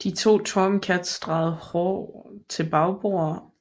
De to Tomcats drejede hård til bagbord